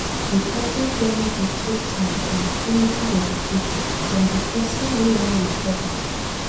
Recovery journey dey take time and plenty dedication from di person wey wan recover